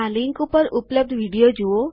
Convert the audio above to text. આ લીંક ઉપર ઉપલબ્ધ વિડીઓ જુઓ